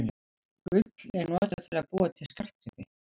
Gull er notað til að búa til skartgripi.